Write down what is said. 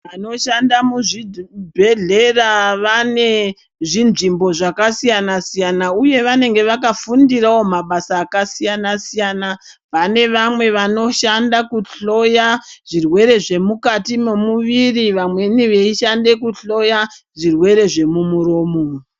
Anoshanda muzvidhi bhedhlera vane zvinzvimbo zvakasiyana siyana uye vanenga vakafundira wo mabasa akasiyana siyana pane vamwe vanoshanda kuhloya zvirwere zvemukati momuviri vamweni veishande kuhloya zvirwere zvemumuromo.